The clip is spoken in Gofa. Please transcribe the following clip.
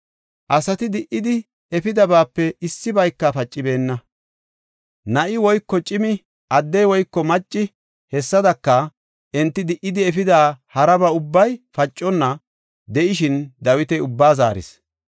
Asati di77idi efidabaape issibayka pacibeenna; na7i woyko cimi, addey woyko macci, hessadaka enti di77idi efida haraba ubbay paconna de7ishin Dawiti ubbaa zaaris.